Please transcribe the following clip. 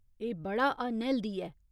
एह् बड़ा अनहैल्दी ऐ।